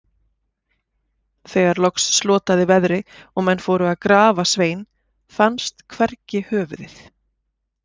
Þegar loks slotaði veðri og menn fóru til að grafa Svein, fannst hvergi höfuðið.